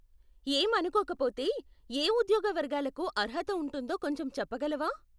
ఏమనుకోకపోతే, ఏ ఉద్యోగ వర్గాలకు అర్హత ఉంటుందో కొంచెం చెప్పగలవా?